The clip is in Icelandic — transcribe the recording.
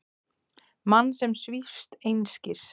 Mann sem svífst einskis.